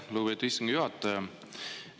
Aitäh, lugupeetud istungi juhataja!